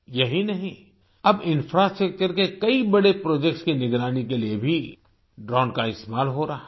यही नहीं अब इंफ्रास्ट्रक्चर के कई बड़े प्रोजेक्ट्स की निगरानी के लिए भी ड्रोन का इस्तेमाल हो रहा है